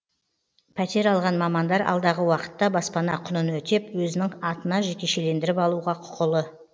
пәтер алған мамандар алдағы уақытта баспана құнын өтеп өзінің атына жекешелендіріп алуға құқылы